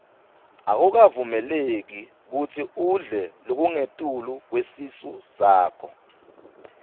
akukavumeleki kutsi udle lokungetulu kwesisu sakho